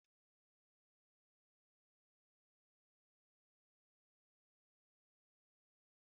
Ofe nkume na-akụziri anyị gbasara ikere òkè na ịrụkọ ọrụ ọnụ maka oriri.